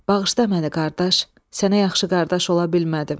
Bağışla məni, qardaş, sənə yaxşı qardaş ola bilmədim.